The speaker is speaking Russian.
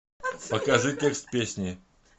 покажи текст песни